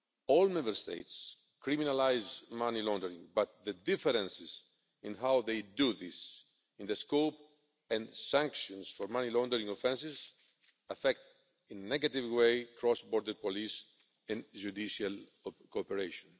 All Member States criminalise money laundering but the differences in how they do this, in the scope and sanctions for money laundering offences, affect in a negative way cross border police and judicial cooperation.